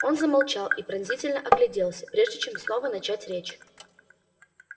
он замолчал и подозрительно огляделся прежде чем снова начать речь